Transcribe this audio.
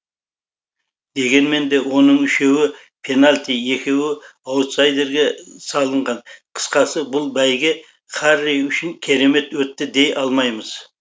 дегенмен де оның үшеуі пенальти екеуі аутсайдерге салынған қысқасы бұл бәйге харри үшін керемет өтті дей алмаймыз